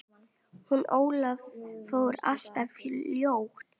Hún Ólöf fór alltof fljótt.